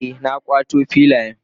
Eh na kawo filiyan.